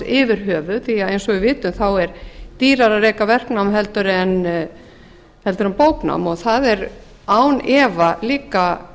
yfir höfuð því að eins og við vitum er dýrara að reka verknám en bóknám og það er án efa líka